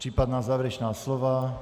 Případná závěrečná slova?